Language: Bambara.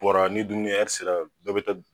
Bɔra ni dumuni kɛ sera bɛɛ bɛ taa